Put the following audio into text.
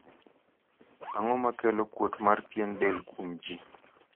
ang'o makelo kuot mar pien del kuom jii